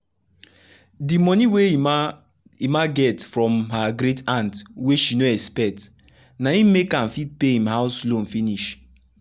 de monie wey emma emma get from her great-aunt wey she no expect na im make am fit pay im house loan finish.